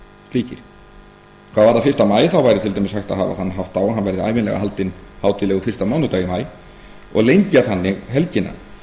hvað varðar fyrsta maí væri til dæmis hægt að hafa þann hátt á að hann verði ævinlega haldinn hátíðlegur fyrsta mánudag í maí og lengja þannig helgina